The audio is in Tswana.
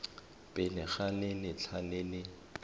pele ga letlha le le